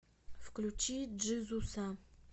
включи джизуса